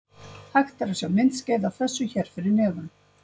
Hægt er að sjá myndskeið af þessu hér fyrir neðan.